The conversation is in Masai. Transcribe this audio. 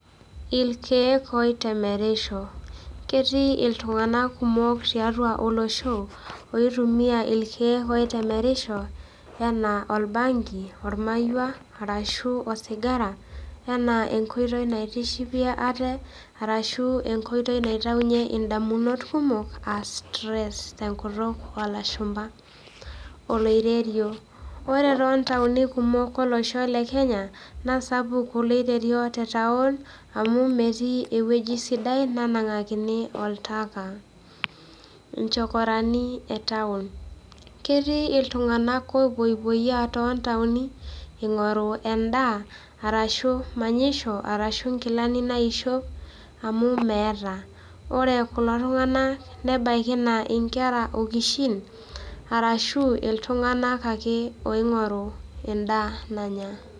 irkeek oitemerisho, ketii iltunganak kumok tiatua olosho, oitumia irkeek oitemerisho, enaa orbanki, ormaiwua, ashu osigara, ore ena naa enkoiti naitishipie ate, arashu enkoitoi naitayunye idamunot kumok aa stress te nkutuk oolashumpa, oloiterio, ore tooltauni kumok tolosho le kenya, naa sapuk oloiterio te taon, amu metii ewueji sidai, nenang'akini oltaka. nchokorani e taon, ketii iltunganak oopoipoyiaa too ntaoni, eing'oru edaa arashu manyisho, arashu inkilani naishop, amu meeta, ore kulo tunganak, nebaiki naa nkera okishin, arashu iltunganak ake oing'oru edaa nanya.